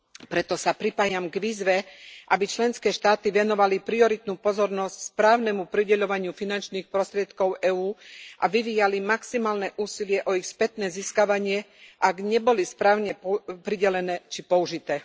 Preto sa pripájam k výzve, aby členské štáty venovali prioritnú pozornosť správnemu prideľovaniu finančných prostriedkov EÚ a vyvíjali maximálne úsilie o ich spätné získavanie, ak neboli správne pridelené či použité.